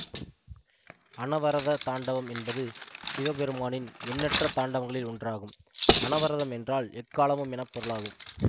அனவரத தாண்டவம் என்பது சிவபெருமானின் எண்ணற்ற தாண்டவங்களில் ஒன்றாகும் அனவரதம் என்றால் எக்காலமும் என பொருளாகும்